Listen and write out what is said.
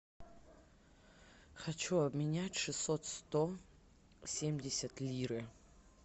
хочу обменять шестьсот сто семьдесят лиры